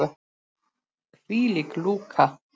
Hvílík lúka!